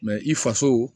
i faso